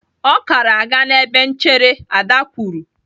"Ọ kara aga n'ebe nchere!" Ada kwuru.